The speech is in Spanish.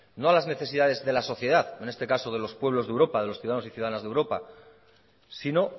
no a las necesidades de la sociedad en este caso de los pueblos de europa de los ciudadanos y ciudadanas de europa sino